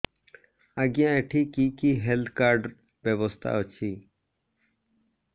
ଆଜ୍ଞା ଏଠି କି କି ହେଲ୍ଥ କାର୍ଡ ବ୍ୟବସ୍ଥା ଅଛି